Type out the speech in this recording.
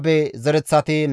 Bebaye zereththati 623,